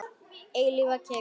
Eilífa kyrrð.